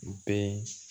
U bɛɛ